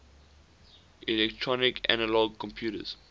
electronic analog computers